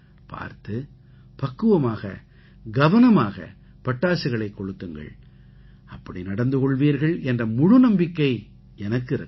பார்த்து பக்குவமாக கவனமாக பட்டாசுகளைக் கொளுத்துங்கள் அப்படி நடந்து கொள்வீர்கள் என்ற முழு நம்பிக்கை எனக்கு இருக்கிறது